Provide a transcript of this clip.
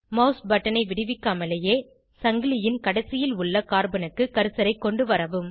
mouse பட்டனை விடுவிக்காமலேயே சங்கிலியின் கடைசியில் உள்ள கார்பனுக்கு கர்சரை கொண்டுவரவும்